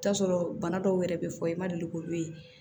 I bi t'a sɔrɔ bana dɔw yɛrɛ bɛ fɔ i ma deli k'olu ye